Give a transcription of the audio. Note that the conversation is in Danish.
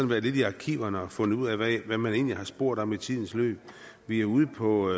været lidt i arkiverne og fundet ud af hvad man egentlig har spurgt om i tidens løb vi er ude på